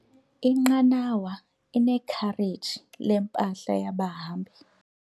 Inqanawa inekhareji lempahla yabahambi.